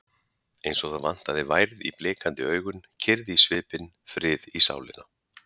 Eins og það vantaði værð í blikandi augun, kyrrð í svipinn, frið í sálina.